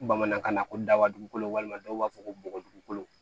Bamanankan na ko daba dugukolo walima dɔw b'a fɔ ko bɔgɔ dugukolo